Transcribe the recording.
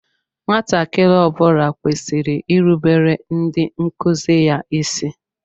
Nwatakịrị ọ bula kwesịrị irubere ndị nkụzi ya ịsị.